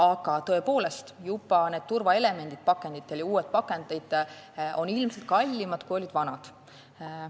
Aga tõepoolest, need turvaelemendid pakenditel ja uued pakendid on ilmselt kallimad, kui olid vanad.